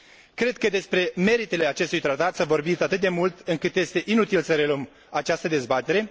Cred că despre meritele acestui Tratat s a vorbit atât de mult încât este inutil să reluăm această dezbatere.